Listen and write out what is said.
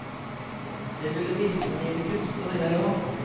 Jeg ville vise mine kunster, jeg og.